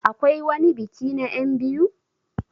Akwai wani biki na enbiyu?